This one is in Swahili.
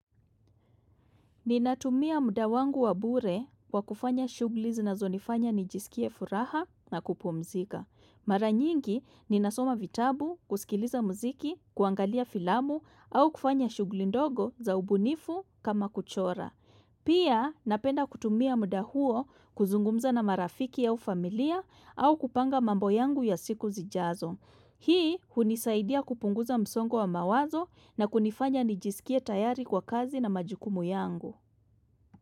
Ninatumia muda wangu wabure kwa kufanya shugli zinazonifanya nijisikie furaha na kupumzika. Mara nyingi ninasoma vitabu, kusikiliza mziki, kuangalia filamu au kufanya shuglindogo za ubunifu kama kuchora. Pia napenda kutumia muda huo kuzungumza na marafiki au familia au kupanga mambo yangu ya siku zijazo. Hii hunisaidia kupunguza msongo wa mawazo na kunifanya nijisikie tayari kwa kazi na majukumu yangu.